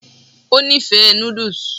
ó nífẹ̀ẹ́ noodles